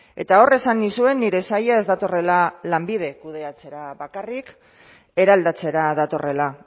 eta hor esan nizuen nire saila ez datorrela lanbide kudeatzera bakarrik eraldatzera datorrela